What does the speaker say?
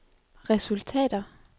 resultater